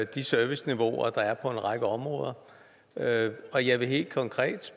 de serviceniveauer der er på en række områder og jeg vil helt konkret